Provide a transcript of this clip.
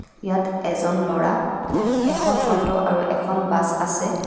ইয়াত এজন ল'ৰা এখন অটো আৰু এখন বাছ আছে.